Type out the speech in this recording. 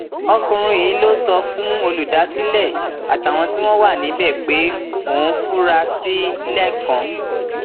ọkùnrin yìí ló sọ fún olùdásílẹ àtàwọn tí wọn wà níbẹ pé òun fura sí lẹkàn